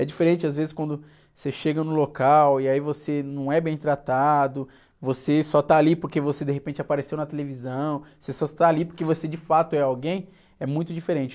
É diferente, às vezes, quando você chega no local e aí você não é bem tratado, você só está ali porque você, de repente, apareceu na televisão, você só está ali porque você, de fato, é alguém, é muito diferente.